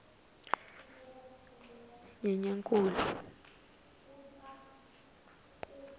nyenyankulu